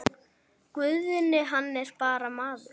Guðni hann er bara maður.